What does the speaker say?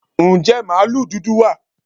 Ǹjẹ́ màlúù dúdú wà?